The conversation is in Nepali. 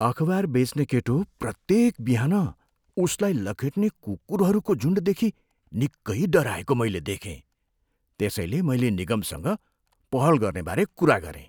अखबार बेच्ने केटो प्रत्येक बिहान उसलाई लखेट्ने कुकुरहरूको झुन्डदेखि निकै डराएको मैले देखेँ। त्यसैले मैले निगमसँग पहल गर्नेबारे कुरा गरेँ।